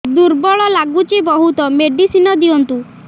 ଦୁର୍ବଳ ଲାଗୁଚି ବହୁତ ମେଡିସିନ ଦିଅନ୍ତୁ